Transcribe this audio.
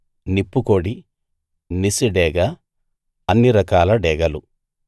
నిప్పు కోడి నిశి డేగ అన్ని రకాల డేగలు